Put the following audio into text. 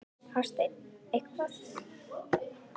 Hafsteinn: Eitthvað?